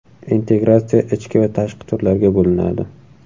Integratsiya ichki va tashqi turlarga bo‘linadi.